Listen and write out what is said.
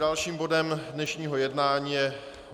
Dalším bodem dnešního jednání je